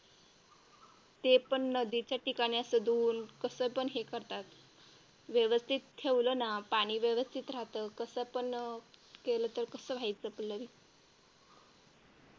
ते पण नदीच्या ठिकाणी असं दूर कसं पण करतात व्यवस्थित ठेवलं ना पाणी व्यवस्थित राहतं तसं पण केलं तर कसं व्हायचं पल्लवी.